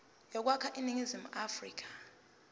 yokwakha iningizimu afrika